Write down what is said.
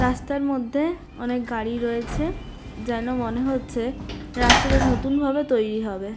রাস্তার মধ্যে অনেক গাড়ি রয়েছে. যেন মনে হচ্ছে রাস্তাটা নতুন ভাবে তৈরী হবে।